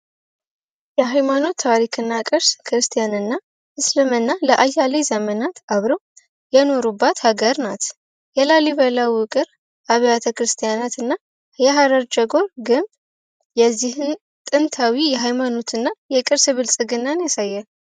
የሃይማኖት ታሪክና ቅርስ ክርስቲያንና እስልምና ለአያሌው ዘመናት አብረው የኖሩባት ሀገር ናት የላሊበላ አብያተ ክርስቲያናትና የሀረር ጀጎል ግንብ ጥንታዊ የሃይማኖትና የቅርስ ብልጽግናን ያሳያል።